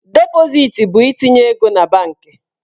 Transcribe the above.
Depositi bụ itinye ego na banki.